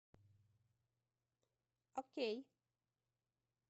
окей